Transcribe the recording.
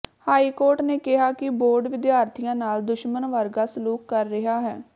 high court ਨੇ ਕਿਹਾ ਕਿ ਬੋਰਡ ਵਿਦਿਆਰਥੀਆਂ ਨਾਲ ਦੁਸ਼ਮਣ ਵਰਗਾ ਸਲੂਕ ਕਰ ਰਿਹਾ ਹੈ